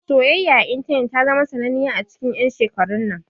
Soyayya a intanet ta zama sananniya a cikin 'yan shekarun nan.